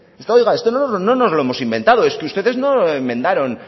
esto oiga esto no nos lo hemos inventado es que ustedes no lo enmendaron